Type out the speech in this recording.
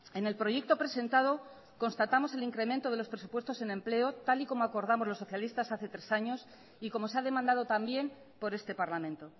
en el proyecto presentado constatamos el incremento de los presupuestos en empleo tal y como acordamos los socialistas hace tres años y como se ha demandado también por este parlamento